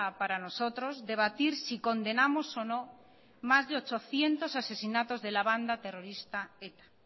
para nosotros debatir si condenamos o no más de ochocientos asesinatos de la banda terrorista eta